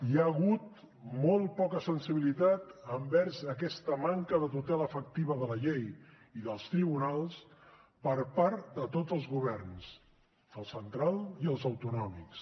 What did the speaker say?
hi ha hagut molt poca sensibilitat envers aquesta manca de tutela efectiva de la llei i dels tribunals per part de tots els governs el central i els autonòmics